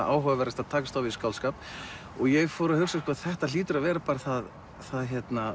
áhugaverðast að takast á við skáldskap ég fór að hugsa þetta hlýtur að vera það það